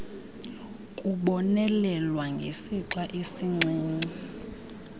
kubonelelwa ngesixa esincinci